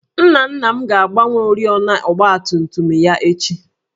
Nna nna m ga-agbanwe oriọna ọgbatumtum ya echi